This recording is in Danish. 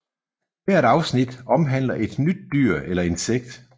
Hvert afsnit omhandler et nyt dyr eller insekt